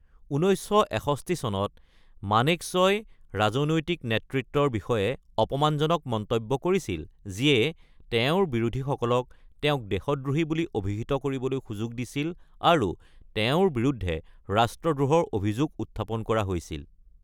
১৯৬১ চনত মানেক্‌শ্বই ৰাজনৈতিক নেতৃত্বৰ বিষয়ে অপমানজনক মন্তব্য কৰিছিল যিয়ে তেওঁৰ বিৰোধীসকলক তেওঁক দেশদ্ৰোহী বুলি অভিহিত কৰিবলৈ সূযোগ দিছিল, আৰু তেওঁৰ বিৰুদ্ধে ৰাষ্ট্ৰদ্ৰোহৰ অভিযোগ উত্থাপন কৰা হৈছিল।